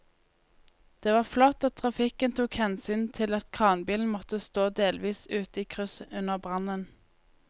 Det var flott at trafikken tok hensyn til at kranbilen måtte stå delvis ute i krysset under brannen.